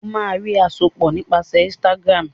o má rí àsopọ nípasẹ Instagram